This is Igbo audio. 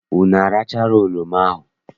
Unu arachala oroma ahụ?